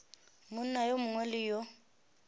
monna yo mongwe le yo